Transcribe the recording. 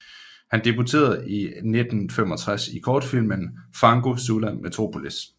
Han debuterede i 1965 i kortfilmen Fango sulla metropolis